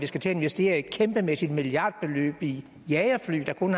skal til at investere et kæmpemæssigt milliardbeløb i jagerfly der kun